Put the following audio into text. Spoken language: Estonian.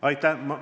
Aitäh!